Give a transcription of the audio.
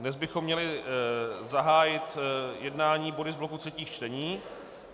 Dnes bychom měli zahájit jednání body z bloku třetích čtení.